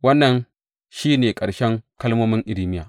Wannan shi ne ƙarshen kalmomin Irmiya.